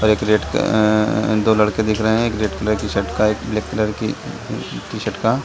दो लड़के दिख रहे हैं एक रेड कलर की टी-शर्ट का एक ब्लैक कलर की टी-शर्ट का।